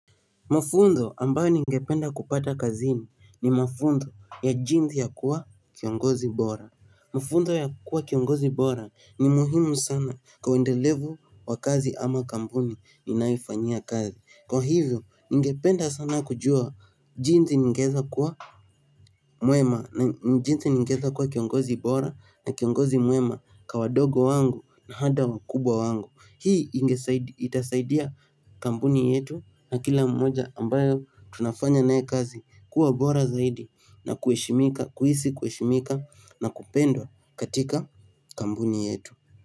Mafunzo ambayo ningependa kupata kazini ni mafunzo ya jinsi ya kuwa kiongozi bora. Mafunzo ya kuwa kiongozi bora ni muhimu sana kwa uendelevu wa kazi ama kampuni ninayofanyia kazi. Kwa hivyo ningependa sana kujua jinsi ningeeza kuwa mwema na jinsi ningeeza kuwa kiongozi bora na kiongozi mwema ka wadogo wangu na hada wakubwa wangu. Hii itasaidia kambuni yetu na kila mmoja ambayo tunafanya naye kazi kuwa bora zaidi na kuhisi kuheshimika na kupendwa katika kambuni yetu.